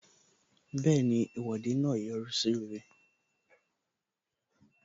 Bẹẹni, Ìwọ́de náà yọrí sí rere